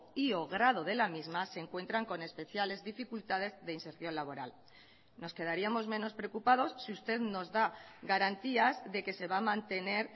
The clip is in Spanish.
y o grado de la misma se encuentran con especiales dificultades de inserción laboral nos quedaríamos menos preocupados si usted nos da garantías de que se va a mantener